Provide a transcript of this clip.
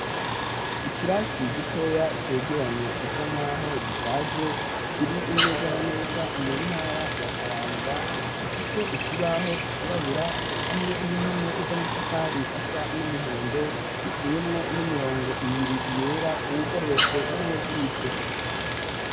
Ikirasi gitoya cegeranye gisa nk'aho gishaje kiri neza na neza mu ntara ya kayanza gifise ikibaho cirabura hamwe n'impome z'amatafari asa n'umuhondo giciyemwo n'imirongo ibiri yera, uwugororotse n'uwukitse.